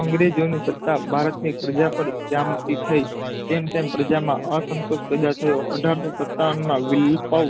અંગ્રેજોની સતા ભારતની પ્રજા પાર ગામઠી થઇ તેમ તેમ પ્રજામાં અસન્તોસ પેદા થયો અઢારસો સતાવનમાં વીલ પવ